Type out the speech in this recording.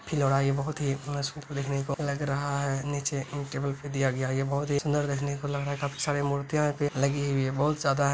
ये बहोत ही को लग रहा है। नीचे इन टेबल पे दिया गया है। ये बहोत ही सुंदर देखने को लग रहा है। काफी सारी मूर्तियाँ पे लगी हुई हैं। बहोत ज्यादा है।